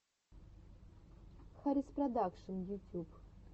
хариспродакшн ютюб